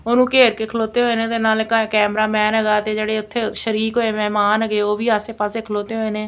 ਉਹਨੂੰ ਘੇਰ ਕੇ ਖਲੋਤੇ ਹੋਏ ਨੇ ਤੇ ਨਾਲ ਕੈਮਰਾਮੈਨ ਹੈਗਾ ਤੇ ਜਿਹੜੇ ਉੱਥੇ ਸ਼ਰੀਕ ਹੋਏ ਮਹਿਮਾਨ ਹੈਗੇ ਉਹ ਵੀ ਆਸੇ ਪਾਸੇ ਖਲੋਤੇ ਹੋਏ ਨੇ।